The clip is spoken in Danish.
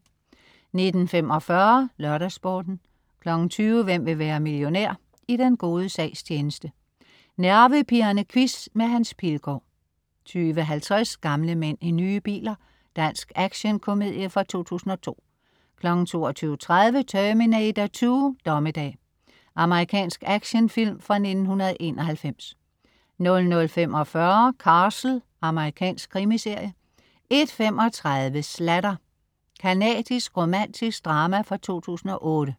19.45 LørdagsSporten 20.00 Hvem vil være millionær? I den gode sags tjeneste. Nervepirrende quiz med Hans Pilgaard 20.50 Gamle mænd i nye biler. Dansk actionkomedie fra 2002 22.30 Terminator 2: Dommedag. Amerikansk actionfilm fra 1991 00.45 Castle. Amerikansk krimiserie 01.35 Sladder. Canadisk romantisk drama fra 2008